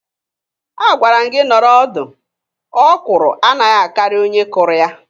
Agwara m gị nọrọ ọdụ. Ọkwụrụ anaghị akarị onye kụrụ ya.